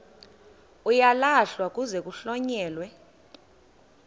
uyalahlwa kuze kuhlonyelwe